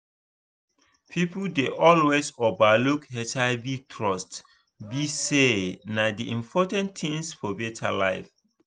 people dey always over look hivtruth be say na d important thing for better life